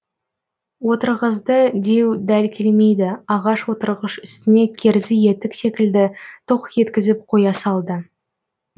отырғызды деу дәл келмейді ағаш отырғыш үстіне керзі етік секілді тоқ еткізіп қоя салды